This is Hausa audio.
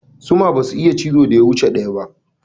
Zuma basa iya cizo ya wuce ɗaya.